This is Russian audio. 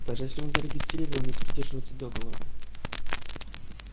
даже если он зарегистрирован и придерживается договора